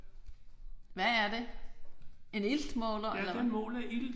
Hvad er det? En iltmåler eller hvad?